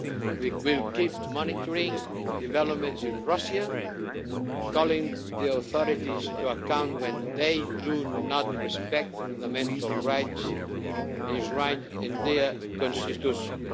We will keep monitoring developments in Russia, calling the authorities to account when they do not respect fundamental rights enshrined in their Constitution.